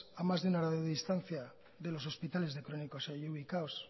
a más de una horade distancia de los hospitales de crónicos allí ubicados